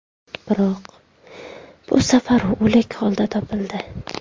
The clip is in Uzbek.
Biroq bu safar u o‘lik holda topildi.